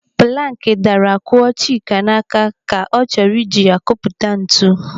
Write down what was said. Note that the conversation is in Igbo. Planki kụrụ daara kụọ Chika n'aka ka ọ chọrọ iji ya kpụta ntụ.